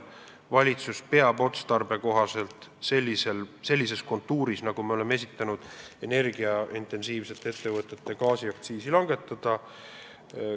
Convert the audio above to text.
Valitsus aga peab otstarbekohaseks sellisel moel, nagu me oleme esitanud, intensiivse energiatarbimisega ettevõtete gaasiaktsiisi langetada.